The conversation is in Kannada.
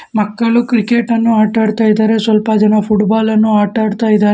ಮಕ್ಕಳು ಕ್ರಿಕೆಟ ನ್ನು ಆಟ ಆಡ್ತಾ ಇದಾರೆ ಸ್ವಲ್ಪ ಜನ ಫುಟಬಾಲ ನ್ನು ಆಟ ಆಡ್ತಾ ಇದಾರೆ.